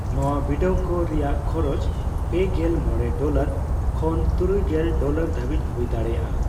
ᱱᱚᱣᱟ ᱵᱤᱰᱟᱹᱣᱠᱚ ᱨᱮᱭᱟᱜ ᱠᱷᱚᱨᱚᱪ ᱯᱮᱜᱮᱞ ᱢᱚᱲᱮ ᱰᱚᱞᱚᱨ ᱠᱷᱚᱱ ᱛᱩᱨᱩᱭᱜᱮᱞ ᱰᱚᱞᱟᱨ ᱫᱷᱟᱹᱵᱤᱡᱽ ᱦᱩᱭ ᱫᱟᱲᱮᱭᱟᱜᱼᱟ ᱾